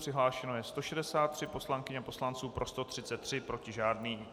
Přihlášeno je 163 poslankyň a poslanců, pro 133, proti žádný.